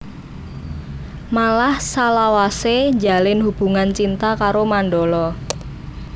Malah salawasé njalin hubungan cinta karo Mandala